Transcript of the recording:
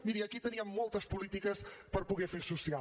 miri aquí teníem moltes polítiques per poder fer social